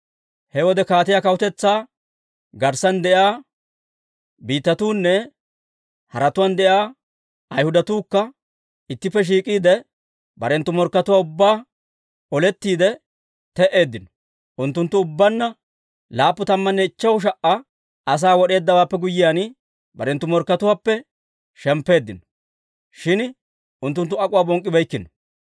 He wode kaatiyaa kawutetsaa garssan de'iyaa biittatuunne haratuwaan de'iyaa Ayhudatuukka ittippe shiik'iide, barenttu morkkatuwaa ubbaa olettiide te"eeddino. Unttunttu ubbaanna 75,000 asaa wod'eeddawaappe guyyiyaan, barenttu morkkatuwaappe shemppeeddino. Shin unttunttu ak'uwaa bonk'k'ibeykkino.